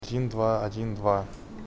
один два один два